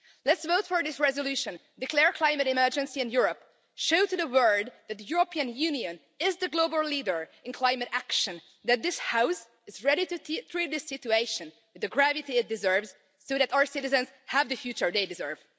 Let's vote for this resolution, declare climate emergency in Europe and show to the world that the European Union is the global leader in climate action and that this House is ready to treat the situation with the gravity it deserves, so that our citizens have the future they deserve.